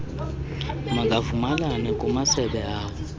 makavumelane kumasebe awo